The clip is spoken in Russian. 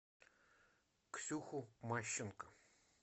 ксюху мащенко